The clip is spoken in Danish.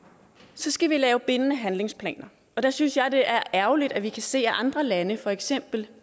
så skal vi lave bindende handlingsplaner og der synes jeg det er ærgerligt at vi kan se at andre lande for eksempel